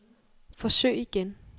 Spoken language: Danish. forsøg igen